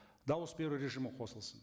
дауыс беру режимі қосылсын